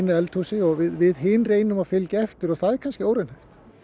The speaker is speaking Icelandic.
eldhúsi og við hin reynum að fylgja eftir og það er kannski óraunhæft